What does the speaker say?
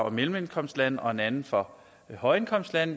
og mellemindkomstlande og en anden for højindkomstlande